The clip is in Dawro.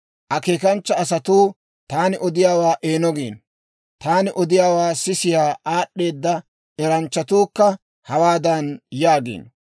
Akeekanchcha asatuu taani odiyaawaa eeno giino; taani odiyaawaa sisiyaa aad'd'eeda eranchchatuukka hawaadan yaagiino;